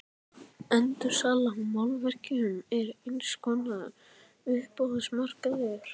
Endursala á málverkum er eins konar uppboðsmarkaður.